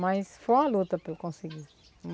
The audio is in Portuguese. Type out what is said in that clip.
Mas foi uma luta para eu conseguir.